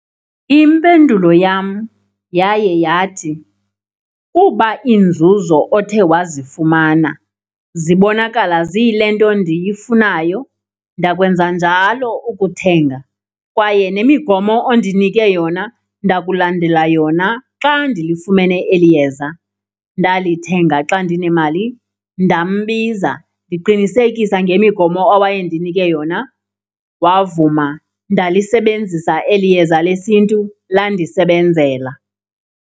Impendulo yam yaye yathi, kuba inzuzo othe wazifumana zibonakala ziyilento ndiyifunayo ndakwenza njalo ukuthenga kwaye nemigomo ondinike yona ndakulandela yona xa ndilifumene eli yeza. Ndalithenga xa ndinemali ndambiza, ndiqinisekisa ngemigomo owayendinike yona wavuma. Ndalisebenzisa eli yeza lesiNtu landisebenzela.